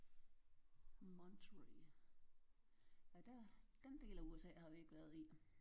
Monterrey nej der den del af USA har vi ikke været i